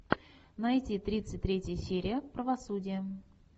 найти тридцать третья серия правосудие